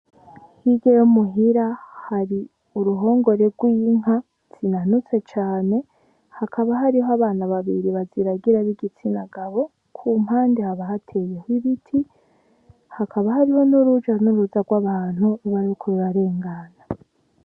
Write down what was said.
Hirya yo muhira hari urihongore gw' inka zinanutse cane hakaba hari abana babiri baziragiye b'igitsina gabo kumpande hakaba hateyeho ibiti hakaba hariho n' uruja n' uruza gw' abantu.